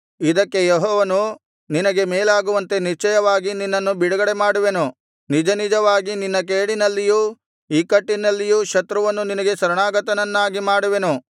ಇದಕ್ಕೆ ಯೆಹೋವನು ನಿನಗೆ ಮೇಲಾಗುವಂತೆ ನಿಶ್ಚಯವಾಗಿ ನಿನ್ನನ್ನು ಬಿಡುಗಡೆಮಾಡುವೆನು ನಿಜನಿಜವಾಗಿ ನಿನ್ನ ಕೇಡಿನಲ್ಲಿಯೂ ಇಕ್ಕಟ್ಟಿನಲ್ಲಿಯೂ ಶತ್ರುವನ್ನು ನಿನಗೆ ಶರಣಾಗತನನ್ನಾಗಿ ಮಾಡುವೆನು